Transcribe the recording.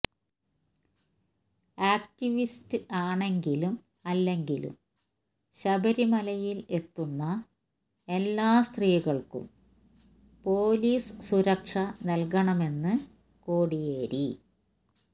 activist ആണെങ്കിലും അല്ലെങ്കിലും ശബരിമലയിൽ എത്തുന്ന എല്ലാ സ്ത്രീകൾക്കും പോലീസ് സുരക്ഷ നൽകണമെന്ന് കോടിയേരി